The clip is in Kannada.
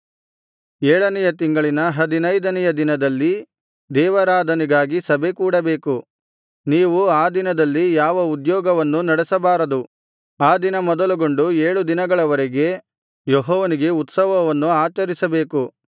ಏಳನೆಯ ತಿಂಗಳಿನ ಹದಿನೈದನೆಯ ದಿನದಲ್ಲಿ ದೇವಾರಾಧನೆಗಾಗಿ ಸಭೆಕೂಡಬೇಕು ನೀವು ಆ ದಿನದಲ್ಲಿ ಯಾವ ಉದ್ಯೋಗವನ್ನೂ ನಡೆಸಬಾರದು ಆ ದಿನ ಮೊದಲುಗೊಂಡು ಏಳು ದಿನಗಳವರೆಗೆ ಯೆಹೋವನಿಗೆ ಉತ್ಸವವನ್ನು ಆಚರಿಸಬೇಕು